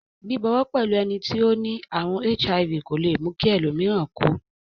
Bíbọwọ́ pẹ́lu eni to ni àrùn HIV kò le mú ki ẹlòmíràn ko